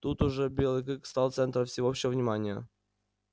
тут уж белый клык стал центром всеобщего внимания